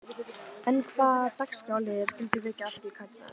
En hvaða dagskrárliðir skyldu vekja athygli Katrínar?